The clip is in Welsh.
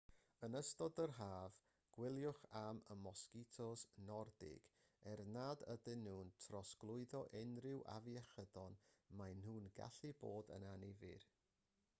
yn ystod yr haf gwyliwch am y mosgitos nordig er nad ydyn nhw'n trosglwyddo unrhyw afiechydon maen nhw'n gallu bod yn annifyr